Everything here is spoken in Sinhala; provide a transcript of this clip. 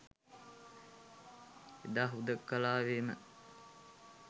එදා හුදෙකලාවේම